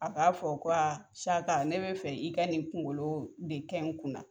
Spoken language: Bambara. A k'a fɔ ko Saka ne be fɛ, i ka nin kunkolo de kɛ kun na.